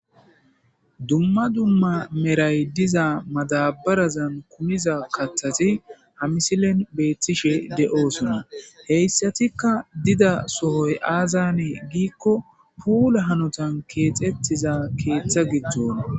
Dumma dumma meray diza madabarazan kumiza kathati ha misilen beettishe de7osona. Heyssatikka dida sohoy aazanee giikko puula hanotan keexettiza keeththa giddona.